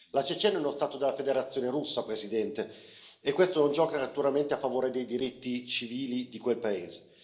La Cecenia è uno Stato della Federazione Russa, Presidente, e questo non gioca naturalmente a favore dei diritti civili di quel paese.